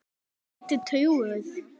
Ertu trúuð?